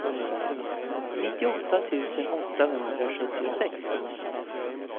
nittioåtta tusen åttahundrasjuttiosex